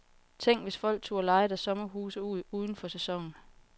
Tænk, hvis folk turde leje deres sommerhuse ud uden for sæsonen.